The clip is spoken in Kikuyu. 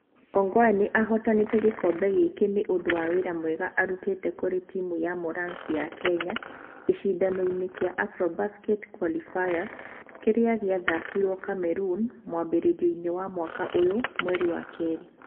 Ongwae nĩ ahootanĩte gĩkombe gĩkĩ nĩ ũndũ wa wĩra mwega arutĩte kũrĩ timu ya Morans ya Kenya gĩcindano-inĩ kĩa Afrobasket qualifiers kĩrĩa gĩathakĩirwo Cameroon mwambĩrĩrio wa mwaka ũyũ, mweri wa kerĩ.